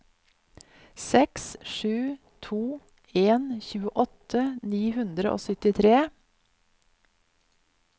seks sju to en tjueåtte ni hundre og syttitre